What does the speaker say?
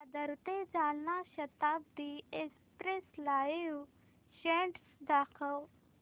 दादर ते Jalna Janshatabdi express live status दाखव